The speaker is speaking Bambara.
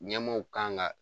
Ɲɛmaw kanga.